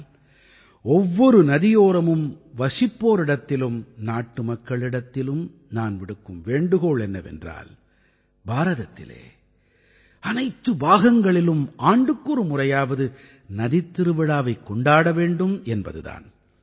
ஆனால் ஒவ்வொரு நதியோரமும் வசிப்போரிடத்திலும் நாட்டுமக்களிடத்திலும் நான் விடுக்கும் வேண்டுகோள் என்னவென்றால் பாரதத்திலே அனைத்து பாகங்களிலும் ஆண்டுக்கொரு முறையாவது நதித்திருவிழாவைக் கொண்டாட வேண்டும் என்பது தான்